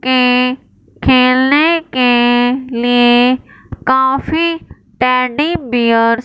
के खेलने के लिए काफी टैडी बियर --